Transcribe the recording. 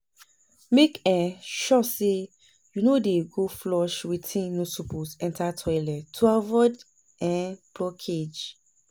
mek um sure say yu no dey go flush wetin no soppose enta toilet to avoid um blockage